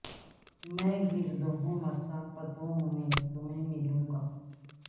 میں گرد ہو ں مسا فتو ں میں تمہیں ملوں گا